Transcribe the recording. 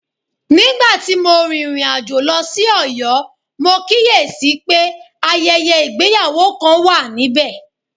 Nígbà tí mo rìnrìn àjò lọ sí Oyo, mo kíyè sí i pé ayẹyẹ ìgbéyàwó kan wà níbẹ̀